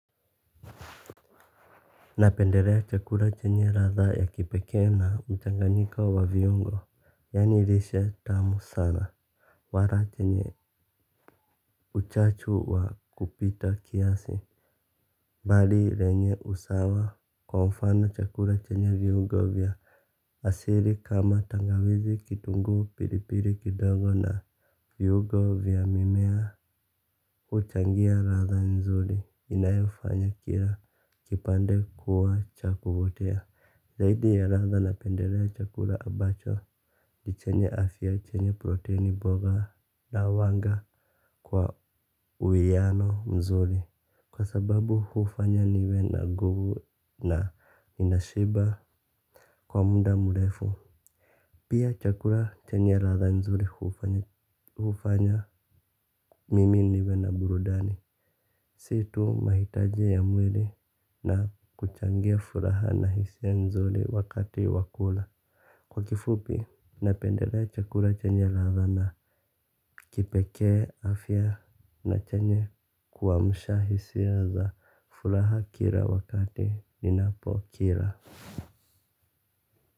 Napendelea chakula chenye ladha ya kipekee na mchanganyiko wa viungo. Yaani lishe tamu sana. Wala chenye uchachu wa kupita kiasi. Bali lenye usawa kwa mfano chakula chenye viungo vya asili kama tangawizi, kitunguu, pilipili kidogo na viungo vya mimea huchangia ladha nzuri inayofanya kila kipande kuwa cha kuotea. Zaidi ya ladha napendelea chakula ambacho chenye afya, chenye proteni mboga, na huwanga kwa uwiano mzuri, kwa sababu hufanya niwe na nguvu na ninashiba kwa muda mrefu. Pia chakula chenye ladha nzuri hufanya mimi niwe na burudani. Si tu mahitaji ya mwili na kuchangia furaha na hisia nzuri wakati wakula. Kwa kifupi, napendelea chakula chenye ladha na kipekee, afya na chenye kuamsha hisia za furaha kila wakati ninapokila.